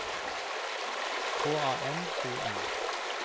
K A N O N